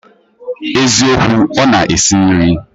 Eziokwu, Ona esi nri